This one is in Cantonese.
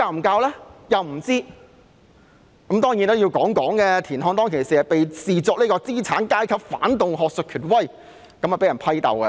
當然，我也要說說，田漢當時被視作資產階級反動學術權威而被批鬥。